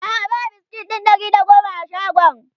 a'a ba biskit ɗin Ɗari da da goma a shagon